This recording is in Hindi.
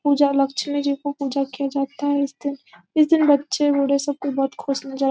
पूजा लक्ष्मी जी को पूजा किया जाता है इस दिन इस दिन बच्चे बूढ़े कोई खुश नजर --